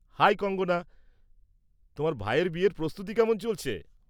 High Kangana! তোমার ভাইয়ের বিয়ের প্রস্তুতি কেমন চলছে?